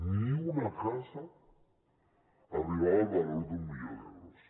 ni una casa arribava el valor d’un milió d’euros